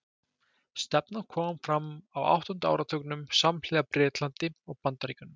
Stefnan kom fram á áttunda áratugnum, samhliða í Bretlandi og Bandaríkjunum.